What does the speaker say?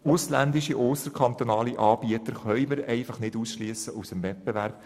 Ausländische und ausserkantonale Anbieter können wir nun einmal nicht vom Wettbewerb ausschliessen;